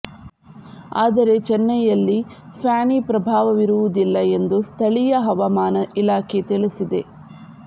ಆದರೆ ಚೆನ್ನೈಯಲ್ಲಿ ಫ್ಯಾನಿ ಪ್ರಭಾವವಿರುವುದಿಲ್ಲ ಎಂದು ಸ್ಥಳೀಯ ಹವಾಮಾನ ಇಲಾಖೆ ತಿಳಿಸಿದೆ